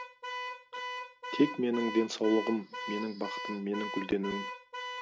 тек менің денсаулығым менің бақытым менің гүлденуім